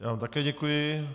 Já vám také děkuji.